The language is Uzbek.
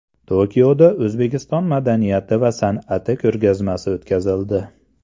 Tokioda O‘zbekiston madaniyati va san’ati ko‘rgazmasi o‘tkazildi.